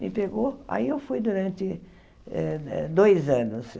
Me pegou aí eu fui durante eh eh dois anos.